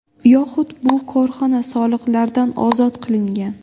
Yoxud bu korxona soliqlardan ozod qilingan.